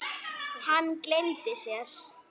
Hann gleymdi sér.